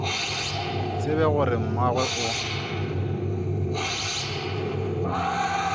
tsebe gore na mmagwe o